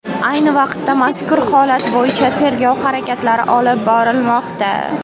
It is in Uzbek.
Ayni vaqtda mazkur holat bo‘yicha tergov harakatlari olib borilmoqda.